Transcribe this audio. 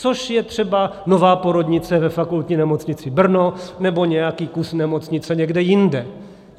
Což je třeba nová porodnice ve Fakultní nemocnici Brno nebo nějaký kus nemocnice někde jinde.